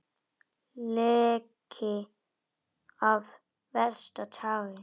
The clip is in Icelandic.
Leki af versta tagi